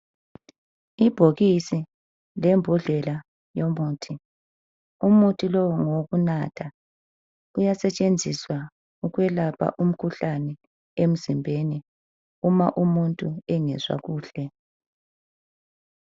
Ibhokisi lembodlela yomuthi, umuthi lowu ngowokunatha uyasetshenziswa ukwelapha umkhuhlane emzimbeni uma umuntu engezwa kuhle.